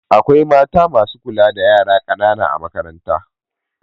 Akwai mata masu kula da yara ƙanana a makaranta